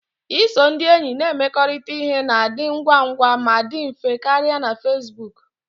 Iso ndị enyi na-emekọrịta ihe na-adị ngwa ngwa ma dị mfe karịa na Facebook